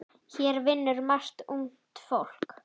Hér vinnur margt ungt fólk.